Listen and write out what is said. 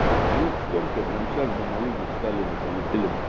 мы с темкой прямо сейчас бы на лыжи стали бы да полетели